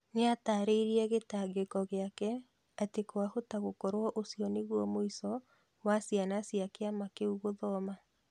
Nĩatarĩirie gĩtangĩko gĩake atĩ kwahota gũkorwo ũcio nĩguo mũico wa ciana cĩa kĩama kĩu gũthoma.